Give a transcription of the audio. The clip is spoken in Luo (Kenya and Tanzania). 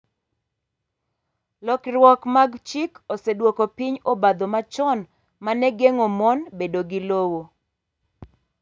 Lokiruok mag chik osedwoko piny obadho machon ma ne geng’o mon bedo gi lowo .